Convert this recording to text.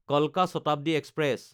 কালকা শতাব্দী এক্সপ্ৰেছ